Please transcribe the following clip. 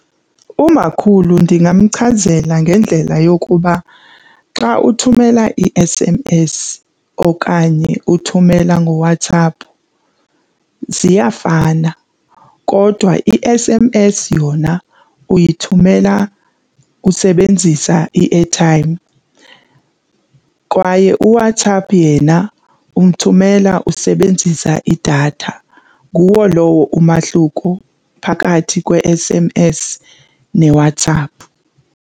Umakhulu ndingamchazela ngendlela yokuba xa uthumela i-S_M_S okanye uthumela ngoWhatsApp ziyafana kodwa i-S_M_S yona uyithumela usebenzisa i-airtime kwaye uWhatsApp yena umthumela usebenzisa idatha. Nguwo lowo umahluko phakathi kwe-S_M_S neWhatsApp.